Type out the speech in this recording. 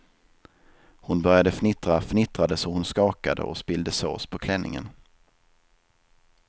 Hon började fnittra, fnittrade så hon skakade och spillde sås på klänningen.